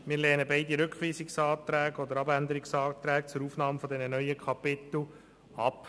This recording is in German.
Wir lehnen beide Rückweisungsanträge zur Aufnahme dieser neuen Kapitel ab.